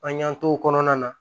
An y'an t'o kɔnɔna na